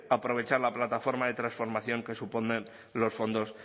aprovechar la plataforma de transformación que suponen los fondos